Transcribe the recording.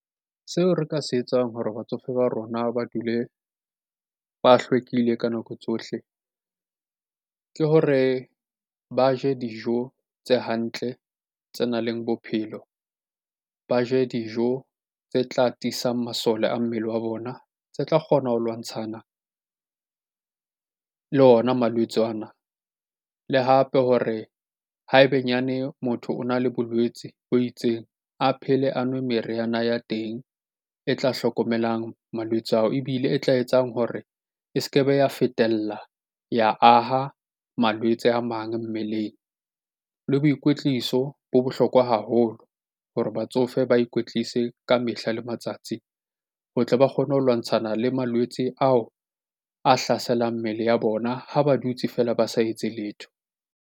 Seo re ka se etsang hore batsofe ba rona ba dule ba hlwekile ka nako tsohle ke hore ba je dijo tse hantle, tse nang le bophelo. Ba je dijo tse tla tiisang masole a mmele wa bona, tse tla kgona ho lwantshana le ona malwetse ana. Le hape hore ha ebenyane motho o na le bolwetsi bo itseng, a phele a nwe meriana ya teng e tla hlokomelang malwetse ao. Ebile e tla etsang hore e se ke be ya fetela ya aha malwetse a mang mmeleng. Le boikwetliso bo bohlokwa haholo holo hore batsofe ba ikwetlise ka mehla le matsatsi. Ho tle ba kgone ho lwantshana le malwetse ao a hlaselang mmele ya bona ha ba dutse feela ba sa etse letho.